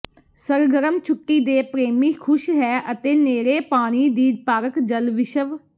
ਸਰਗਰਮ ਛੁੱਟੀ ਦੇ ਪ੍ਰੇਮੀ ਖੁਸ਼ ਹੈ ਅਤੇ ਨੇੜੇ ਪਾਣੀ ਦੀ ਪਾਰਕ ਜਲ ਵਿਸ਼ਵ